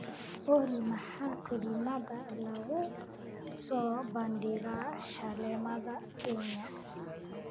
olly maxaa filimada lagu soo bandhigaa shaleemada kenya